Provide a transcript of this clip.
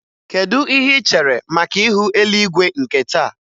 Kedu ihe ị chere maka ihu eluigwe nke taa?